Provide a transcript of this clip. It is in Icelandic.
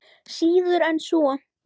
Síður en svo.